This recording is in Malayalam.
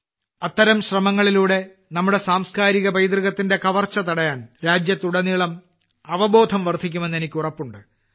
അത്തരം ശ്രമങ്ങളിലൂടെ നമ്മുടെ സാംസ്കാരിക പൈതൃകത്തിന്റെ കവർച്ച തടയാൻ രാജ്യത്തുടനീളം അവബോധം വർദ്ധിക്കുമെന്ന് എനിക്ക് ഉറപ്പുണ്ട്